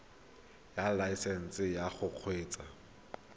ya laesesnse ya go kgweetsa